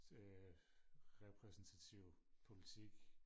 øh repræsentativ politik